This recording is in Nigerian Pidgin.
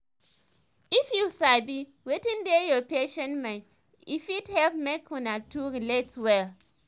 if you sabi wetin dey your patient mind e fit help make una two relate well